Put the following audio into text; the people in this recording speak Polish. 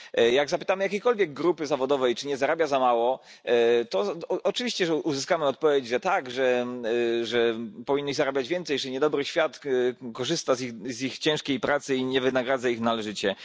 Jak zapytamy jakiejkolwiek grupy zawodowej, czy nie zarabia za mało, to oczywiście uzyskamy odpowiedź, że tak, że powinni zarabiać więcej, że niedobry świat korzysta z ich ciężkiej pracy i nie wynagradza ich należycie.